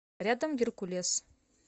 рядом геркулес